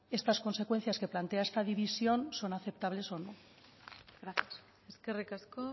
estas consecuencias que plantea esta división son aceptables o no gracias eskerrik asko